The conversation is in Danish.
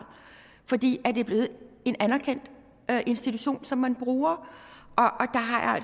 fordi det er blevet en anerkendt institution som man bruger